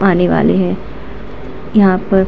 आने वाले है। यहां पर --